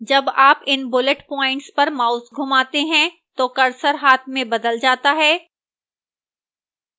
जब आप इन bullet points पर mouse घूमाते हैं तो cursor हाथ में बदल जाता है